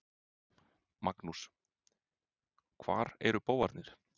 Magnús: Hvar eru bófarnir?